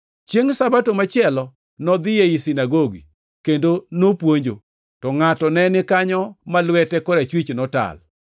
Chiengʼ Sabato machielo nodhi ei sinagogi kendo nopuonjo, to ngʼato ne ni kanyo ma lwete korachwich notal.